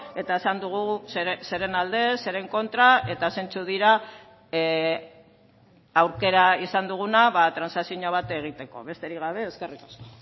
eta esan dugu zeren alde zeren kontra eta zeintzuk dira aukera izan duguna transakzio bat egiteko besterik gabe eskerrik asko